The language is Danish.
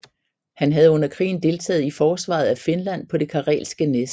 Han havde under krigen deltaget i forsvaret af Finland på det Karelske næs